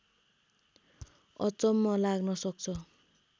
अचम्म लाग्न सक्छ